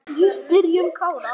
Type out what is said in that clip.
Spyrjum Kára.